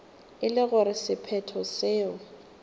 e le gore sephetho seo